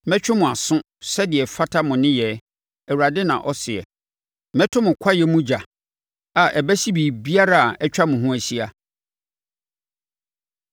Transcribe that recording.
Mɛtwe mo aso sɛdeɛ ɛfata mo nneyɛɛ, Awurade na ɔseɛ. Mɛto mo kwaeɛ mu ogya, a ɛbɛhye biribiara a atwa mo ho ahyia.’ ”